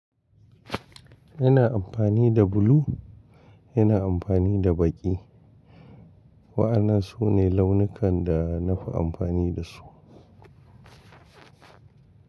Yana amfani da bulu, yana amfani da baƙi. Wa'ana su ne launukan da na fi amfani da su.